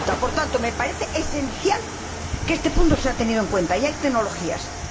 Por tanto, me parece esencial que este punto sea tenido en cuenta, y hay tecnologías para ello.